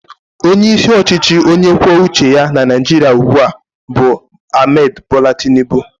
Onyeisi ọchịchị onye kwuo uche ya na Naịjirịa ugbu a bụ Ahmed bola Tinubu.